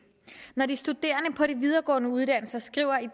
når de studerende på de videregående uddannelser skriver i